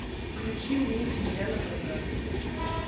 включи мне семья напрокат